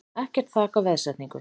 Ekkert þak á veðsetningu